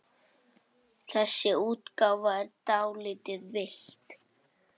Þessi útgáfa er dálítið villt.